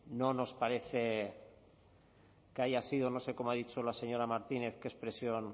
no nos parece que haya sido no sé cómo ha dicho la señora martínez qué expresión